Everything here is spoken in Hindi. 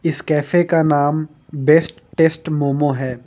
इस कैफे का नाम बेस्ट टेस्ट मोमो है।